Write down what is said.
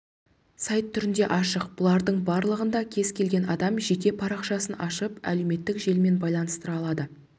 сайт түрінде аштық бұлардың барлығында кез келген адам жеке парақшасын ашып әлеуметтік желімен байланыстыра алады